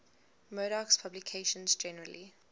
murdoch's publications generally